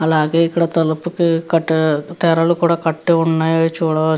అలాగే ఇక్కడ తలుపుకి కట్టే తెరలు కూడా కట్టి ఉన్నాయ్ అవి చూడవచ్చు.